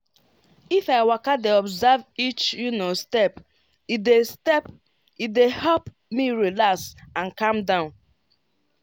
if i waka dey observe each step e dey step e dey help me relax and calm down.